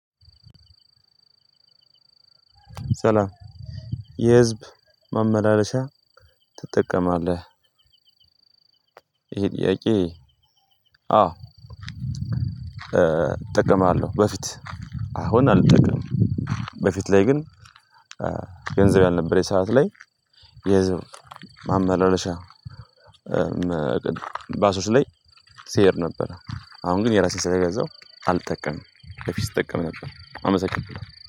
ሰላም የህዝብ መመላለሻ ትጠቀማለህ? ይሄ ጥያቄ? አዎ። እጠቀማለሁ በፊት አሁን አልጠቀምም። በፊት ላይ ግን ገንዘብ ያልነበረ የሰዓት ላይ የህዝብ ማመላለሻ። ባሶች ላይ ሲሄድ ነበር አሁን ግን የራሴን ስለገዛው አልጠቀምም። በፊት ስጠቀም ነበር አመሰግንበታለሁ